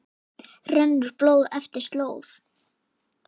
rennur blóð eftir slóð